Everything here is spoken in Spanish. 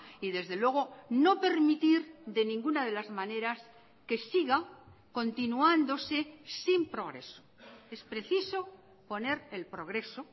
y desde luego no permitir de ninguna de las maneras que siga continuándose sin progreso es preciso poner el progreso